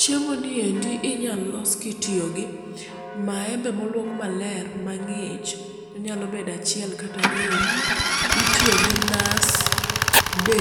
Chiemoni endi inya los kitiyogi maembe moluok maler mang'ich onyalo bedo achiel kata ariyo, Itiyogi nas be